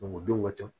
o denw ka ca